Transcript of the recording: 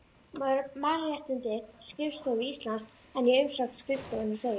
Mannréttindaskrifstofu Íslands en í umsögn skrifstofunnar segir